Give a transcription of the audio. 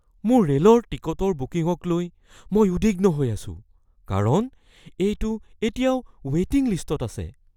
মোৰ ৰে'লৰ টিকটৰ বুকিঙক লৈ মই উদ্বিগ্ন হৈ আছো কাৰণ এইটো এতিয়াও ৱে'টিং লিষ্টত আছে।